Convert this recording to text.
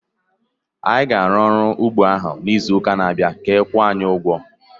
Anyị ga-arụ ọrụ n'ugbọ ahụ n'izu na-abịa ka a kwụọ anyị ụgwọ